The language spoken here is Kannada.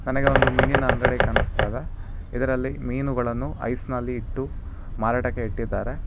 ನನಗೆ ಒಂದು ಮೀನಿನ ಅಂಗಡಿ ಕಾಣಿಸ್ತಾ ಇದೆ ಇದರಲ್ಲಿ ಮೀನುಗಳನ್ನು ಐಸ್ ನಲ್ಲಿ ಇಟ್ಟು ಮಾರಾಟಕ್ಕೆ ಇಟ್ಟಿದ್ದಾರೆ.